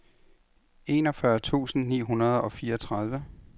enogfyrre tusind ni hundrede og fireogtredive